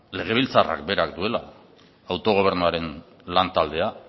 legebiltzarrak berak duela autogobernuaren lantaldea